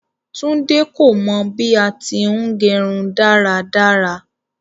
Tunde kò mọ bí à ti ń gẹrún daradara.